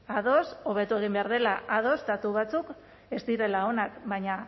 ados hobeto egin behar dela ados datu batzuk ez direla onak baina